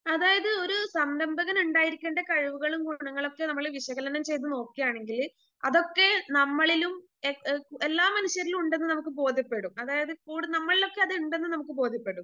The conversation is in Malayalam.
അതായത് ഒരു സംരംഭകനിണ്ടായിരിക്കേണ്ട കഴിവുകളും ഗുണങ്ങളൊക്കെ നമ്മള് വിശകലനം ചെയ്തു നോക്കുവാണെങ്കില് അതൊക്കെ നമ്മളിലും ഏ ഏ എല്ലാ മനുഷ്യരിലും ഉണ്ടെന്നു നമുക്ക് ബോധ്യപ്പെടും അതായത് കൂടെ നമ്മളിലൊക്കെ ഉണ്ടെന്നത് നമുക്ക് ബോധ്യപ്പെടും.